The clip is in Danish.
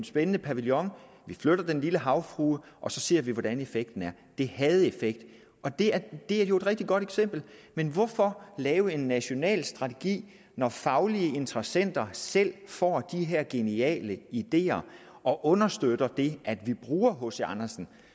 spændende pavillon vi flytter den lille havfrue og så ser vi hvordan effekten er det havde effekt og det er jo et rigtig godt eksempel men hvorfor lave en national strategi når faglige interessenter selv får de her geniale ideer og understøtter det at vi bruger hc andersen